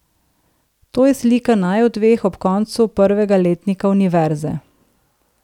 To je slika naju dveh ob koncu prvega letnika univerze.